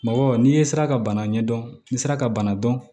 Mɔgɔ n'i ye sira ka bana ɲɛdɔn ni sira ka bana dɔn